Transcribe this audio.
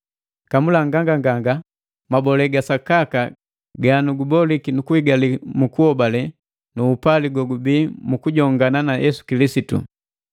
Kamula nganganganga mabole ga Sakaka ganuguboliki nukuhigali mu kuhobale nu upali gogubii mu kujongana na Yesu Kilisitu.